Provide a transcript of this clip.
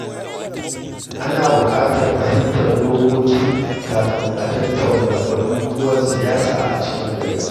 Ana buƙatar fahimtar dokoki kafin a tattauna batutuwan siyasa a cikin gari.